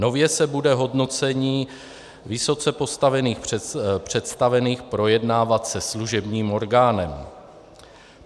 Nově se bude hodnocení vysoce postavených představených projednávat se služebním orgánem.